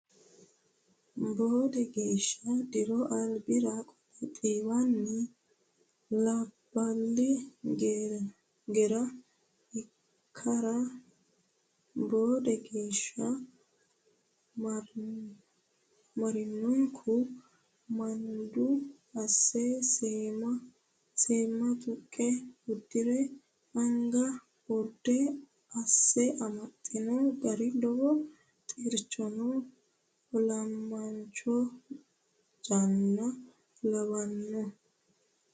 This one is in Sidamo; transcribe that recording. Boode geeshsha diro albira qole xiiwino labbali geera ikkara boode geeshsha marinokku manadu asse seema tuqe udire anga urde asse amaxino gari lowo xirchamo olamancho janna lawanoho.